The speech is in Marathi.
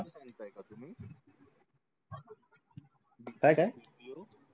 काय काय